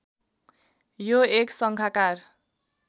यो एक सङ्खाकार